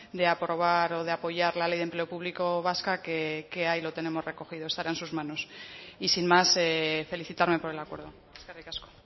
de aprobar o de apoyar la ley de empleo público vasca que ahí lo tenemos recogido estará en sus manos y sin más felicitarme por el acuerdo eskerrik asko